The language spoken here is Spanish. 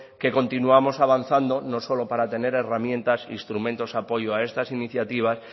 que continuamos avanzando no solo para tener herramientas e instrumentos de apoyo a estas iniciativas